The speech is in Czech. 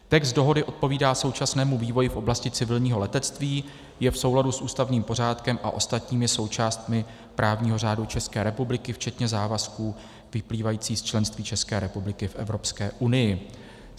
Text dohody odpovídá současnému vývoji v oblasti civilního letectví, je v souladu s ústavním pořádkem a ostatními součástmi právního řádu České republiky včetně závazků vyplývajících z členství České republiky v Evropské unii.